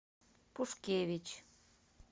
пушкевич